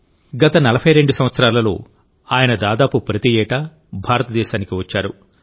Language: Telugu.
గత 42 సంవత్సరాలలో ఆయన దాదాపు ప్రతి ఏటా భారతదేశానికి వచ్చారు